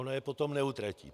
Ona je potom neutratí.